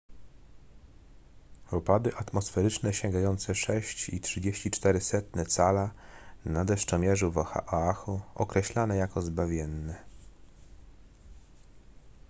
opady atmosferyczne sięgające 6,34 cala na deszczomierzu w oahu określono jako zbawienne